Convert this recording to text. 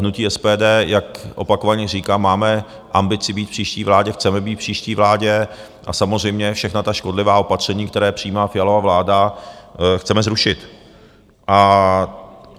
Hnutí SPD, jak opakovaně říkám, máme ambici být v příští vládě, chceme být v příští vládě a samozřejmě všechna ta škodlivá opatření, která přijímá Fialova vláda, chceme zrušit.